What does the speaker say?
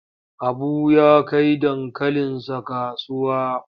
Habu ya kai dankalinsa kasuwa.